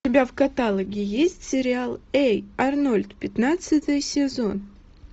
у тебя в каталоге есть сериал эй арнольд пятнадцатый сезон